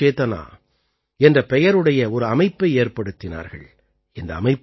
அவர்கள் கலா சேதனா என்ற பெயருடைய ஒரு அமைப்பை ஏற்படுத்தினார்கள்